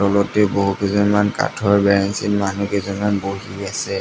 তলতে বহুকেইজনমান কাঠৰ বেঞ্চ এই মানুহ কেইজনমান বহি আছে।